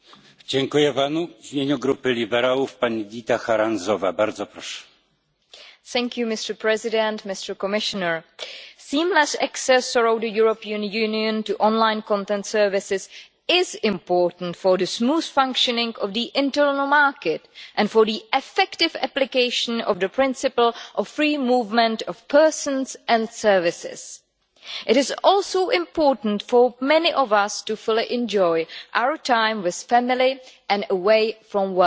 Mr President, seamless access around the European Union to online content services is important for the smooth functioning of the internal market and for the effective application of the principle of free movement of persons and services. It is also important for many of us to fully enjoy our time with family and away from work.